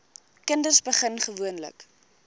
kinders begin gewoonlik